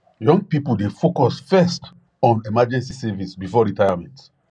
young people dey focus first on emergency savings before retirement